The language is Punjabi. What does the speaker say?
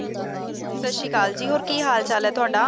ਸਤਸ਼੍ਰੀਅਕਾਲ ਜੀ ਹੋਰ ਕਿ ਹੈ ਹਾਲ ਚਾਲ ਹੈ ਤੁਹਾਡਾ